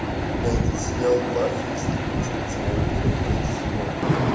найди сериал баффи истребительница вампиров третий сезон